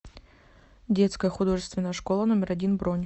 детская художественная школа номер один бронь